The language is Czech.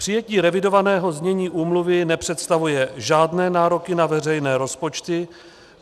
Přijetí revidovaného znění úmluvy nepředstavuje žádné nároky na veřejné rozpočty.